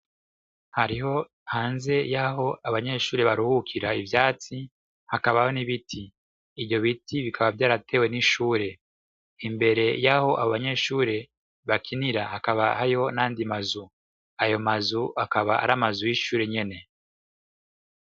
Haribo hanze yaho abanyeshure baruhukira ivyatsi hakabaho n' ibiti, ivyo biti bikaba vyaratewe n' ishure imbere yaho abanyeshure bakinira hakaba hari n' ayandi mazu, ayo mazu akaba ari amazu y'ishure nyene.